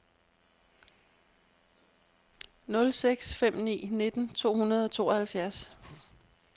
nul seks fem ni nitten to hundrede og tooghalvfjerds